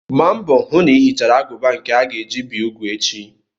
Gba mbọ hụ na ị hichara agụba nke a ga-eji bi úgwù echi!